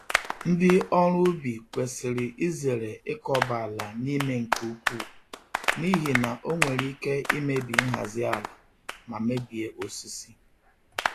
Ndị ọrụ ubi kwesịrị izere ịkọba àlà n'ime nke ukwu, n'ihi na ọ nwere ike imebi nhazi ala ma mebie osisi.